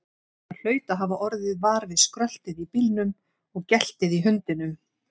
Hann hlaut að hafa orðið var við skröltið í bílnum og geltið í hundinum.